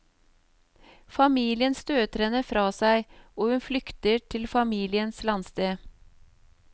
Familien støter henne fra seg, og hun flykter til familiens landsted.